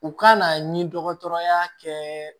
U kana ni dɔgɔtɔrɔya kɛ